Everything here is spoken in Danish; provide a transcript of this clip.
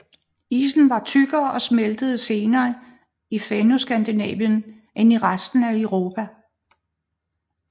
Isen var tykkere og smeltede senere i Fennoskandinavien end i resten af Europa